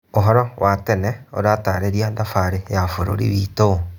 Ũhoro wa tene ũratarĩria thabarĩ ya bũrũri witũ.